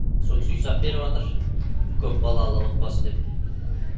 со кісі үй сап беріватыр көпбалалы отбасы деп